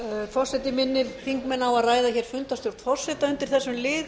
forseti minnir þingmenn á að ræða fundarstjórn forseta undir þessum lið